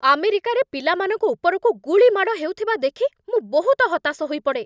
ଆମେରିକାରେ ପିଲାମାନଙ୍କ ଉପରକୁ ଗୁଳି ମାଡ଼ ହେଉଥିବା ଦେଖି ମୁଁ ବହୁତ ହତାଶ ହୋଇପଡ଼େ।